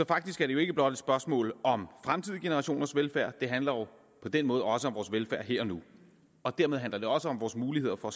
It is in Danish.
faktisk ikke blot et spørgsmål om fremtidige generationers velfærd det handler på den måde også om vores velfærd her og nu og dermed handler det også om vores muligheder for